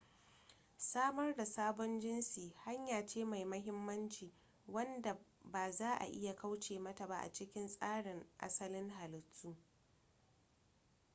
samar da sabon jinsi hanya ce mai mahimmanci wadda ba za'a iya kauce mata ba a cikin tsarin asalin halittu